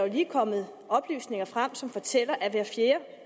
lige kommet oplysninger frem som fortæller at hver fjerde